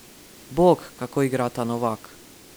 Bog, kako igra ta Novak!